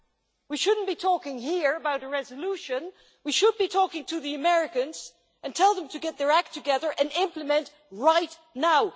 The first is that we should not be talking here about a resolution, we should be talking to the Americans and telling them to get their act together and implement right now.